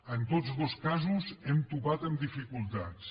en tots dos casos hem topat amb dificultats